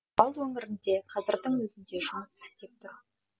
орал өңірінде қазірдің өзінде жұмыс істеп тұр